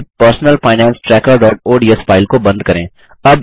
फिर personal finance trackerओडीएस file को बंद करें